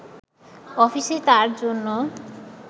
অফিসে তার জন্য